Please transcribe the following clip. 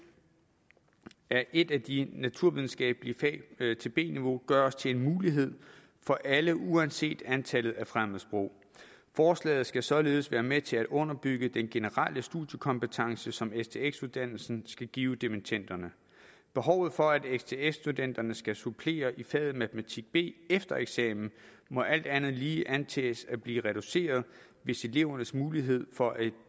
af et af de naturvidenskabelige fag til b niveau gøres til en mulighed for alle uanset antallet af fremmedsprog forslaget skal således være med til at underbygge den generelle studiekompetence som stx uddannelsen skal give dimittenderne behovet for at stx studenterne skal supplere i faget matematik b efter eksamen må alt andet lige antages at blive reduceret hvis elevernes mulighed for at